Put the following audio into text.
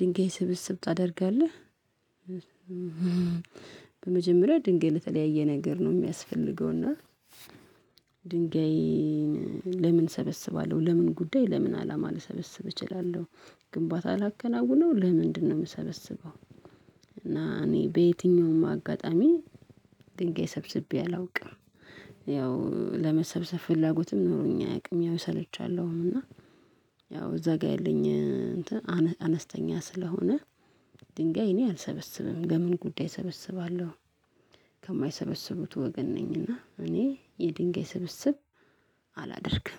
ድንጋይ ስብስብ ታደርጋለህ። በመጀመሪያ ድንጋይ ለተለያየ ነገር ነው የሚያስፈልገው። እና ድንጋይን ለምን እሰበስባለሁ ለምን ጉዳይ ለምን አላማ ልሰበስብ እችላለሁ። ግንባታ ላከናውን ነው ለምንድነው የምሰበስበው? እና እኔ በየትኛውም አጋጣሚ ድንጋይ ሰብስቤ አላውቅም። ያው ለመሰብሰብ ፍላጎትም ኖሮኝ አያውቅም ያው እሰለቻለሁ እና። ያው እዛ ጋር ያለኝ እንትን አነስተኛ ስለሆነ። ድንጋይ እኔ አልሰበስብም ለምን ጉዳይ እሰበስባለሁ? ከማይሰበስቡት ወገን ነኝና እኔ የድንጋይ ስብስብ አላደርግም።